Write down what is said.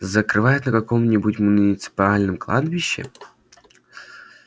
зарывают на каком-нибудь муниципальном кладбище